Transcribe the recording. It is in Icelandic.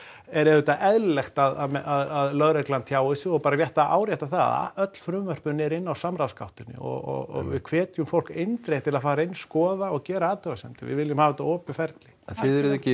er auðvitað eðlilegt bara að lögreglan tjái sig og bara rétt að árétta það að öll frumvörpin eru inni á samráðsgáttinni og við hvetjum fólk eindregið til að fara inn skoða og gera athugasemdir við viljum hafa þetta opið ferli en þið eruð ekki